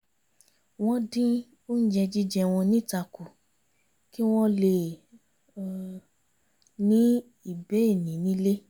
wọ́n dín oúnjẹ jíjẹ wọn níta kù kí wọ́n lè ní ìbénìí nílé